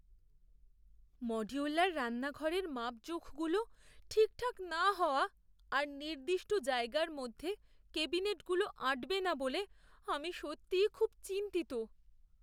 Modular রান্নাঘরের মাপজোখগুলো ঠিকঠাক না হওয়া আর নির্দিষ্ট জায়গার মধ্যে ক্যাবিনেটগুলো আঁটবে না বলে আমি সত্যিই খুব চিন্তিত।